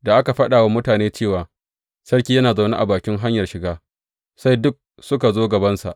Da aka faɗa wa mutane cewa, Sarki yana zaune a bakin hanyar shiga, sai duk suka zo gabansa.